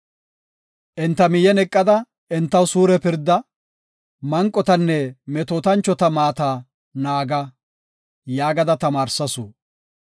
Enta miyen eqada entaw suure pirda; manqotanne metootanchota maata naaga” yaagada tamaarsasu.